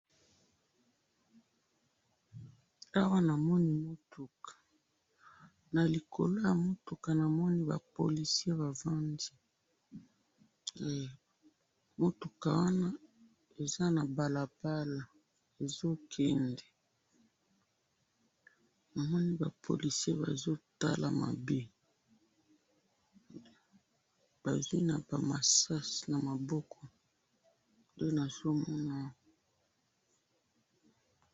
Awa namoni mutuka ,na likolo ya mutuka namoni ba policiers bavandi, eeh, mutuka wana eza na balabala ezo kende , namoni ba policiers bazo tala mabe bazui na ba masasi na maboko, nde nazo mona awa